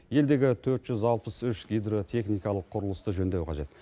елдегі төрт жүз алпыс үш гидротехникалық құрылысты жөндеу қажет